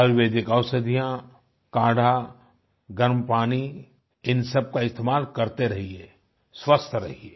आर्युवेदिक औषधियाँ काढ़ा गर्म पानी इन सबका इस्तेमाल करते रहिए स्वस्थ रहिए